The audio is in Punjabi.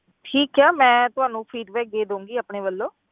ਠੀਕ ਹੈ ਮੈਂ ਤੁਹਾਨੂੰ feedback ਦੇ ਦਊਂਗੀ ਆਪਣੇ ਵੱਲੋਂ।